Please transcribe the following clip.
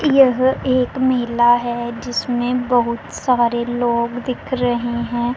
यह एक मेला है जिसमें बहुत सारे लोग दिख रहे हैं।